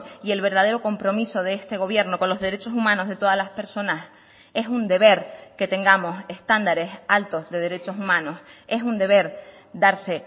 y el verdadero compromiso de este gobierno con los derechos humanos de todas las personas es un deber que tengamos estándares altos de derechos humanos es un deber darse